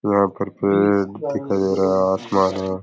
यह पर पेड़ दिखाई दे रहा है आसमान है।